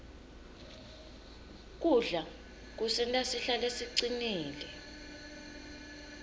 kudla kusenta sihlale sicinile